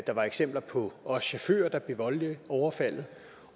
der var eksempler på at også chaufføren blev voldeligt overfaldet